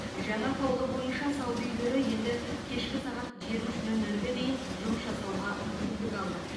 жаңа қаулы бойынша сауда үйлері енді кешкі сағат жиырма үш нөл нөлге дейін жұмыс жасауға мүмкіндік алды